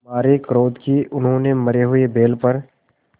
मारे क्रोध के उन्होंने मरे हुए बैल पर